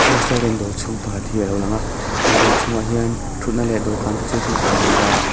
restaurant dawr chhung pakhat hi alo lang a he dawr chhung ah hian thutna leh dawhkan te chu hmuh theih ani a.